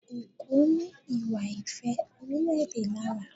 Ògo ní ìwà ìfẹ́-orílẹ̀-èdè lára.